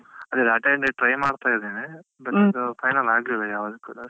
ಅಂದ್ರೆ data entry try ಮಾಡ್ತಾ ಇದ್ದೇನೆ but final ಆಗ್ಲಿಲ್ಲ ಯಾವುದ್ ಕೂಡ.